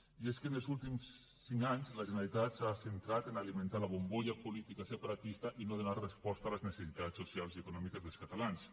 i és que en els últims cinc anys la generalitat s’ha centrat en alimentar la bombolla política separatista i no donar resposta a les necessitats socials i econòmiques dels catalans